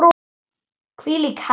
Hvílík heppni!